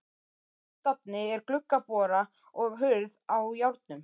Á suðurstafni er gluggabora og hurð á járnum.